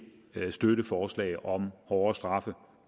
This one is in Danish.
støtte forslaget om hårdere straffe